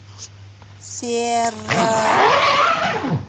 серра